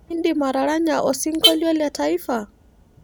Iindim ataranya osinkolia le taifa?